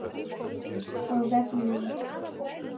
Á vefnum